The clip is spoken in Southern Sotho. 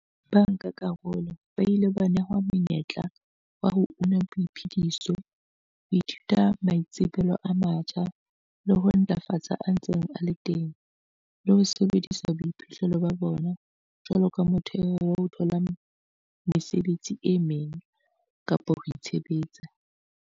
Bankakarolo ba ile ba nehwa monyetla wa ho una boiphediso, ho ithuta maitsebelo a matjha le ho ntlafatsa a ntseng a le teng, le ho sebedisa boiphihlelo ba bona jwaloka motheo wa ho thola mesebetsi e meng kapa ho itshebetsa.